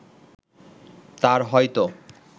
তার হয়তো